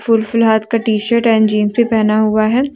Full full हाथ का T shirt and jeans भी पहना हुआ है।